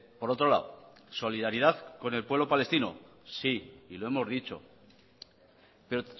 por otro lado solidaridad con el pueblo palestino sí y lo hemos dicho pero